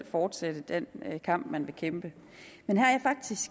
fortsætte den kamp man vil kæmpe men